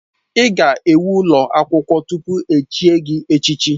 Ị ga-ewu ụlọ akwụkwọ tupu echie gị echichi.